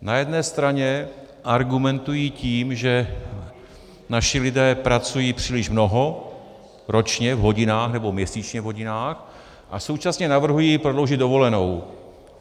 Na jedné straně argumentují tím, že naši lidé pracují příliš mnoho ročně v hodinách nebo měsíčně v hodinách, a současně navrhují prodloužit dovolenou.